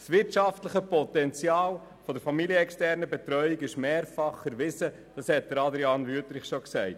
Das wirtschaftliche Potenzial der familienexternen Kinderbetreuung ist mehrfach erwiesen, wie dies Adrian Wüthrich erwähnt hat.